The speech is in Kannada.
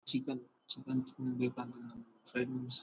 ಚಿಕನ್ ಚಿಕನ್ ತಿನ್ಬೇಕಾದ್ರೆ ನಾವು ಫ್ರೆಂಡ್ಸ್ --